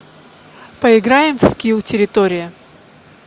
поиграем в скилл территория